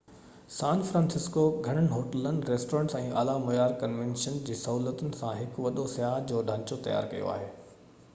سان فرانسسڪو گهڻين هوٽلن، ريسٽورينٽس، ۽ اعليٰ معيار ڪنوينشن جي سهولتن سان هڪ وڏو سياح جو ڍانچو تيار ڪيو آهي